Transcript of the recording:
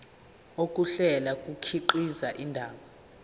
ukuhlela kukhiqiza indaba